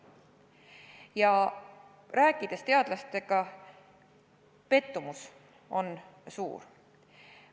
Kui teadlastega rääkida, on selge, et nende pettumus on suur.